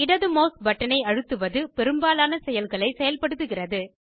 இடது மெளஸ் பட்டனை அழுத்துவது பெரும்பாலான செயல்களை செயல்படுத்துகிறது